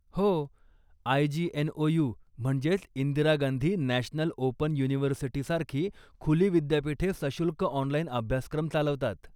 हो, आय.जी.एन.ओ.यु. म्हणजेच Indira Gandhi National Open University सारखी खुली विद्यापीठे सशुल्क ऑनलाइन अभ्यासक्रम चालवतात.